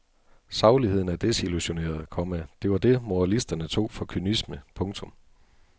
Sagligheden er desillusioneret, komma det var det moralisterne tog for kynisme. punktum